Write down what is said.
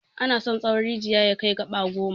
Ana son tsawon rijiya ya kai gaba goma.